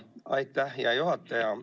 Aitäh, hea juhataja!